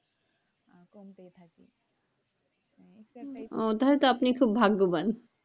ও তাহলে তো আপনি খুব ভাগ্যবান,